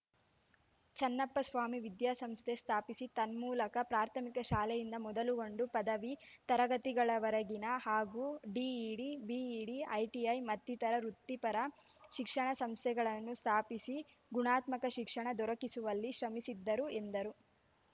ಚನ್ನಪ್ಪ ಸ್ವಾಮಿ ವಿದ್ಯಾಸಂಸ್ಥೆ ಸ್ಥಾಪಿಸಿ ತನ್ಮೂಲಕ ಪ್ರಾಥಮಿಕ ಶಾಲೆಯಿಂದ ಮೊದಲುಗೊಂಡು ಪದವಿ ತರಗತಿಗಳವರೆಗಿನ ಹಾಗೂ ಡಿಇಡಿ ಬಿಇಡಿ ಐಟಿಐ ಮತ್ತಿತರ ವೃತ್ತಿಪರ ಶಿಕ್ಷಣ ಸಂಸ್ಥೆಗಳನ್ನು ಸ್ಥಾಪಿಸಿ ಗುಣಾತ್ಮಕ ಶಿಕ್ಷಣ ದೊರಕಿಸುವಲ್ಲಿ ಶ್ರಮಿಸಿದ್ದರು ಎಂದರು